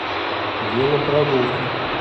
велопрогулки